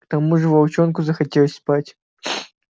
к тому же волчонку захотелось спать